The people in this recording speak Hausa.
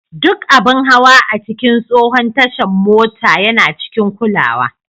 Duk abin hawa a cikin tsohon tashar mota yana cikin kulawa.